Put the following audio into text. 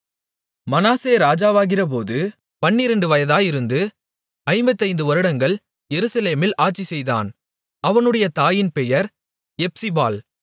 மனாசே ராஜாவாகிறபோது பன்னிரண்டு வயதாயிருந்து ஐம்பத்தைந்து வருடங்கள் எருசலேமில் ஆட்சிசெய்தான் அவனுடைய தாயின் பெயர் எப்சிபாள்